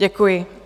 Děkuji.